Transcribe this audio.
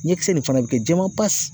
Ɲɛkisɛ nin fana bɛ kɛ jɛman pasi